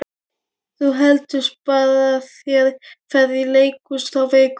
Þú getur sparað þér ferð í leikhús þá vikuna.